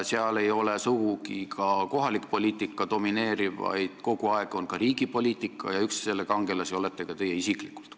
Seal ei domineeri sugugi kohalik poliitika, vaid kogu aeg kajastatakse ka riigi poliitikat, mille üks kangelasi olete teie isiklikult.